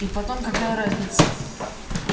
и потом какая разница